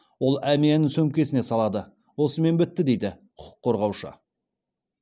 ол әмиянын сөмкесіне салады осымен бітті дейді құқыққорғаушы